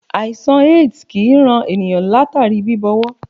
Àìsàn AIDS kì í ran ènìnyàn látàrí bíbọwọ́.